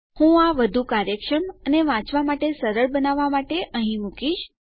હું આ વધુ કાર્યક્ષમ અને વાંચવા માટે સરળ બનાવવા માટે અહીં મુકીશ